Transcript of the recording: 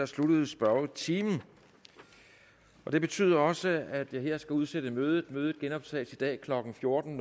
sluttede spørgetimen det betyder også at jeg skal udsætte mødet mødet genoptages i dag klokken fjorten